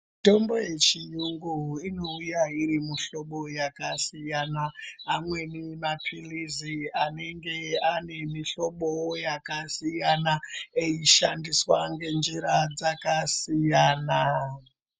Mitombo yechiyungu inouya iri mihlobo yakasiyana. Amweni mapilizi anenge ane mihlobowo yakasiyana, echishandiswa ngenjira dzakasiyana.